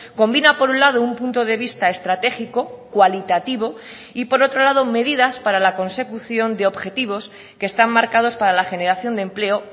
combina por un lado un punto de vista estratégico cualitativo y por otro lado medidas para la consecución de objetivos que están marcados para la generación de empleo